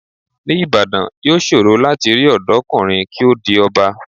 Ní Ìbàdàn, yóò ṣòro láti rí ọ̀dọ́kùnrin kí ó di ọba.